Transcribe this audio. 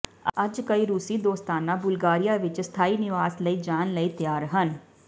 ਅੱਜ ਕਈ ਰੂਸੀ ਦੋਸਤਾਨਾ ਬੁਲਗਾਰੀਆ ਵਿੱਚ ਸਥਾਈ ਨਿਵਾਸ ਲਈ ਜਾਣ ਲਈ ਤਿਆਰ ਹਨ